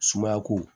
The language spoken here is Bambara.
Sumayako